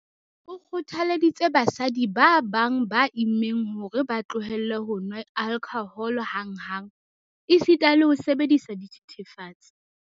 O kgothaleditse basadi ba bang ba immeng hore ba tlohele ho nwa alkhohole hanghang, esita le ho sebedisa dithethefatsi.